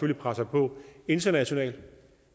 vi presser på internationalt